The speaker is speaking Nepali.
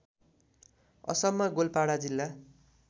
असममा गोलपाडा जिल्ला